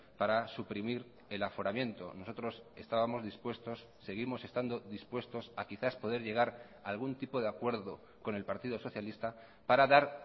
para suprimir el aforamiento nosotros estábamos dispuestos seguimos estando dispuestos a quizás poder llegar a algún tipo de acuerdo con el partido socialista para dar